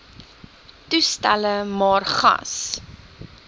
toestelle maar gas